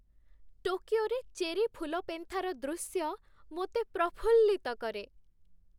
ଟୋକିଓରେ ଚେରି ଫୁଲପେନ୍ଥାର ଦୃଶ୍ୟ ମୋତେ ପ୍ରଫୁଲ୍ଲିତ କରେ